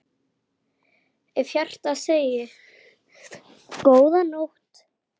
Af hjarta segið: GÓÐA NÓTT.